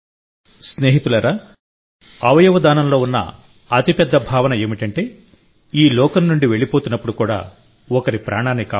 స్నేహితులారాఅవయవ దానంలో ఉన్న అతి పెద్ద భావన ఏమిటంటేఈ లోకం నుండి వెళ్లిపోతున్నప్పుడు కూడా ఒకరి ప్రాణాన్ని కాపాడాలి